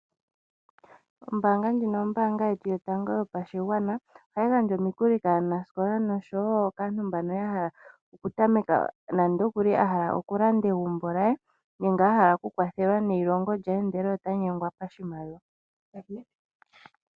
Ombaanga ndjino ombaanga yetu yotango yopashigwana. Ohayi gandja omikuli kaanasikola noshowo kaantu mbano ya hala oku tameka nandoo kuli ahala oku landa egumbo lye nenge ahala akwathelwe neilongo lye ndele ota nyengwa koshimaliwa.